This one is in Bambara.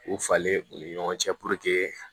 K'u falen u ni ɲɔgɔn cɛ